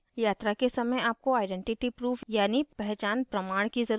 यात्रा के समय आपको आइडेंटिटी proof यानि पहचान प्रमाण की ज़रुरत होती है